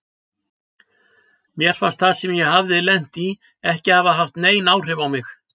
Mér fannst það sem ég hafði lent í ekki hafa haft nein áhrif á mig.